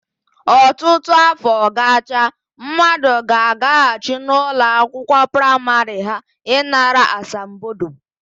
Ọtụtụ áfọ gacha, mmadụ ga-agaghachi n'ụlọakwụkwọ praịmarị ha ịnara asambodo.